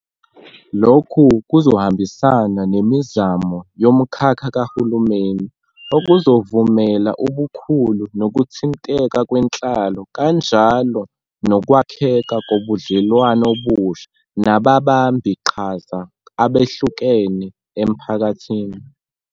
Lokhu kuzohambisana nemizamo yomkhakha kahulumeni, okuzovumela ubukhulu nokuthinteka kwenhlalo kanjalo nokwakheka kobudlelwano obusha nababambiqhaza abehlukene emphakathini.